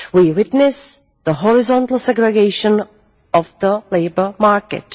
We witness the horizontal segregation of the labour market.